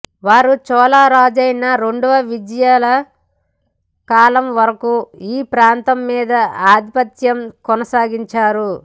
వారు చోళరాజైన రెండవ విజయాలయా కాలం వరకు ఈ ప్రాంతం మీద ఆధిపత్యం కొనసాగించారు